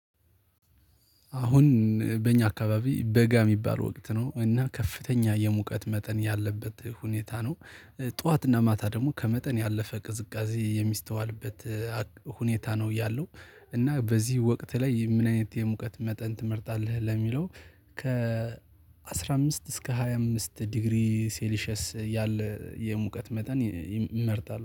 አሁን በእኛ አካባቢ በጋ የሚባል ወቅት ነው እና ከፍተኛ የሙቀት መጠን ያለበት ሁኔታ ነው። ጠዋትና ማታ ደግሞ ከመጠን ያለፈ ቅዝቃዜ የሚስተዋልበት ሁኔታ ነው ያለው። እና በዚህ ወቅት ላይ ምን አይነት የሙቀት መጠን ትመርጣለህ ለሚለው? ከ አስራ አምስት እስከ ሃያ አምስት ዲግሪ ሴሊሸየስ ያለ የሙቀት መጠን ይመርጣል